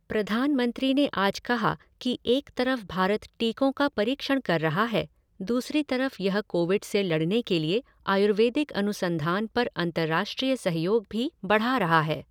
प्रधानमंत्री ने आज कहा कि एक तरफ भारत टीकों का परीक्षण कर रहा है, दूसरी तरफ यह कोविड से लड़ने के लिए आयुर्वेदिक अनुसंधान पर अंतर्राष्ट्रीय सहयोग भी बढ़ा रहा है।